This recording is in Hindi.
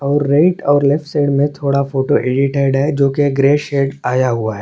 और राइट और लेफ्ट साइड में थोड़ा फोटो एडिटेट है जो की ग्रे शेड आया हुआ है।